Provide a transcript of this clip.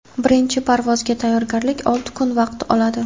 birinchi parvozga tayyorgarlik olti kun vaqt oladi.